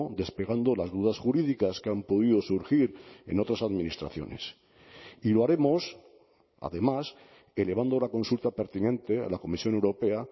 despegando las dudas jurídicas que han podido surgir en otras administraciones y lo haremos además elevando la consulta pertinente a la comisión europea